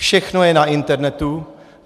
Všechno je na internetu.